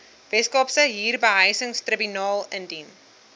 weskaapse huurbehuisingstribunaal indien